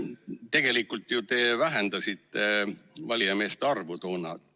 Tegelikult te ju ise vähendasite toona valijameeste arvu.